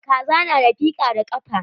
Kaza na da fika da kafa.